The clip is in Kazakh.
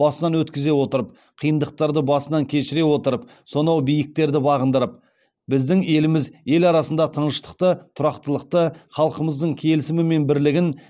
басынан өткізе отырып қиындықтарды басынан кешіре отырып сонау биіктерді бағындырып біздің еліміз ел арасында тыныштықты тұрақтылықты халқымыздың келісімі мен бірлігін